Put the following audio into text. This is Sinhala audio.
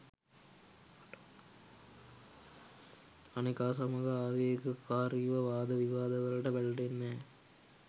අනෙකා සමග ආවේග කාරිව වාද විවාද වලට පැටලෙන්නැ.